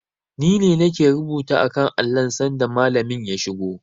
Ni ne nake rubuta a kan allon sanda Malamin ya shigo.